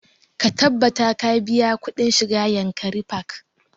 Ka tabbata ka biya kuɗin shiga yankari park!